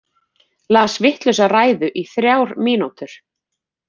Las vitlausa ræðu í þrjár mínútur